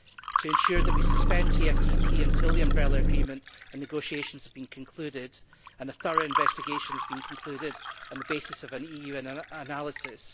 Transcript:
to ensure that we suspend TFTP until the Umbrella Agreement and negotiations have been concluded and a thorough investigation has been concluded on the basis of an EU analysis